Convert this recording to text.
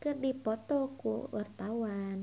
keur dipoto ku wartawan